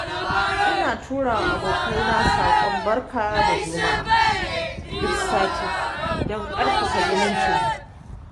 Ina turawa abokaina saƙon barka da juma'a duk sati don ƙarfafa zumuncinmu.